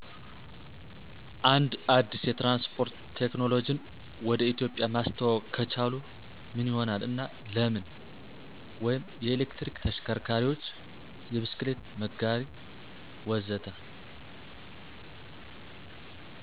አንድ አዲስ የትራንስፖርት ቴክኖሎጂን ወደ ኢትዮጵያ ማስተዋወቅ ከቻሉ ምን ይሆናል እና ለምን? (የኤሌክትሪክ ተሽከርካሪዎች፣ የብስክሌት መጋራት፣ ወዘተ.)